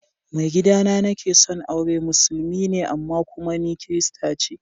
Mai gida da nake son aure musulmi ne amma kuma ni kirista ce.